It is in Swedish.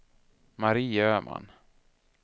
Mari Öhman